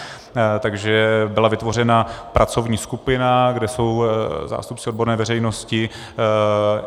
Takže byla vytvořena pracovní skupina, kde jsou zástupci odborné veřejnosti.